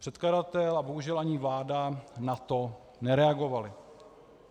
Předkladatel a bohužel ani vláda na to nereagovali.